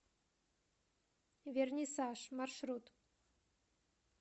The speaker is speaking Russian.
вернисаж маршрут